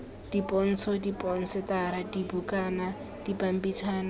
dipontsho diphosetara dibukana dipampitshana jj